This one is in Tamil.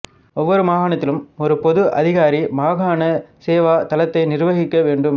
ஒவ்வொரு மாகாணத்திலும் ஒரு பொது அதிகாரி மாகாண சேவா தளத்தை நிர்வகிக்க வேண்டும்